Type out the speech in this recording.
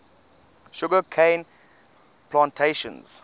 sugar cane plantations